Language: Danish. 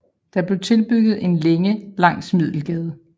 Der blev tilbygget en længe langs Middelgade